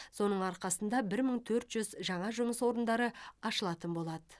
соның арқасында бір мың төрт жүз жаңа жұмыс орындары ашылатын болады